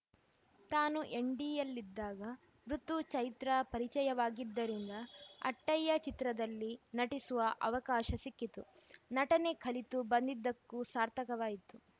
ತಾನು ಎನ್‌ಎಸ್‌ಡಿಯಲ್ಲಿದ್ದಾಗ ಋುತು ಚೈತ್ರಾ ಪರಿಚಯವಾಗಿದ್ದರಿಂದ ಅಟ್ಟಯ್ಯ ಚಿತ್ರದಲ್ಲಿ ನಟಿಸುವ ಅವಕಾಶ ಸಿಕ್ಕಿತು ನಟನೆ ಕಲಿತು ಬಂದಿದ್ದಕ್ಕೂ ಸಾರ್ಥಕವಾಯಿತು